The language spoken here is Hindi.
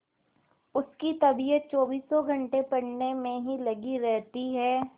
उसकी तबीयत चौबीसों घंटे पढ़ने में ही लगी रहती है